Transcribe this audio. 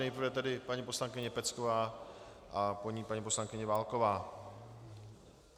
Nejprve tedy paní poslankyně Pecková a po ní paní poslankyně Válková.